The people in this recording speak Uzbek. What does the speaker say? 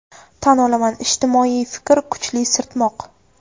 Tan olaman, ijtimoiy fikr kuchli sirtmoq.